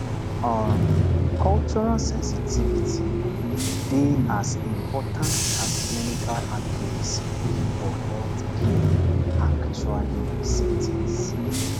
um cultural sensitivity dey as important as clinical accuracy for healthcare actually settings